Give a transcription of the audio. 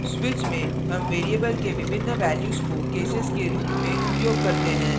switch में हम variable के विभिन्न values को केसेस के रूप में उपयोग करते हैं